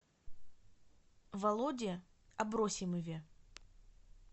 володе абросимове